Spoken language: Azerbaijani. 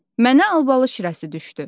Mənə albalı şirəsi düşdü.